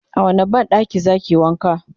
a wani banɗakin zakiyi wanka?